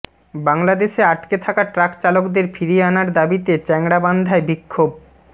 বাংলাদেশে আটকে থাকা ট্রাক চালকদের ফিরিয়ে আনার দাবিতে চ্যাংড়াবান্ধায় বিক্ষোভ